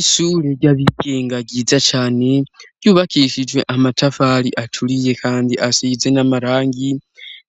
ishure ry'abibenga ryiza cane ryubakishijwe amatafari aturiye kandi asize n'amarangi